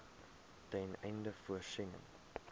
ten einde voorsiening